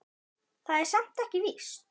Það er samt ekkert víst.